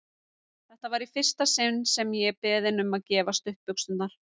Þetta var í fyrsta sinn sem ég er beðinn um að gefa stuttbuxurnar!